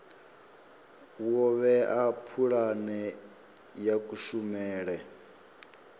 wo vhea pulane ya kushumele